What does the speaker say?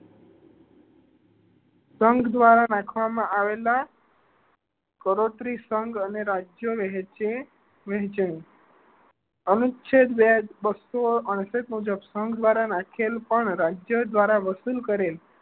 સંઘ દ્વારા રાખવામાં આવેલા કરોત્રી સંઘ અને રાજ્યો વચ્ચે વહેચ્યું હવે અનુચ્છેદ બસો છાસઠ મુજબ દ્વારા રાખેલ પણ રાજ્ય દ્વારા વસૂલ કરે છે